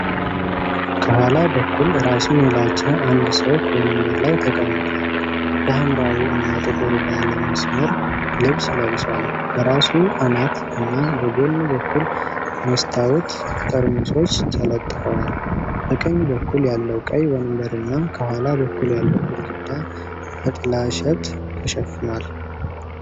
ከኋላ በኩል ራሱን የላጨ አንድ ሰው ከወንበር ላይ ተቀምጧል። የሐምራዊ እና ጥቁር ባለ መስመር ልብስ ለብሷል፡፡ በራሱ አናት እና በጎን በኩል የመስታወት ጠርሙሶች ተለጥፈዋል። በቀኝ በኩል ያለው ቀይ ወንበርና ከኋላ በኩል ያለው ግድግዳ በጥላሸት ተሸፍኗል።